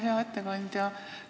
Hea ettekandja!